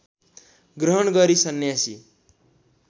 ग्रहण गरी सन्यासी